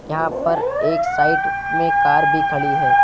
यहां पर एक साइड में कार भी खड़ी है।